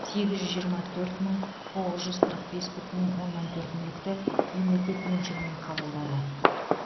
сегіз жүз жиырма төрт мың тоғыз жүз қырық бес бүтін оннан төрт мүлікті мемлекет меншігіне қабылдады